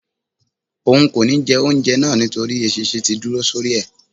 òun kó ní jé oúnjẹ náa nítorí eṣinṣin tí dúró sórí e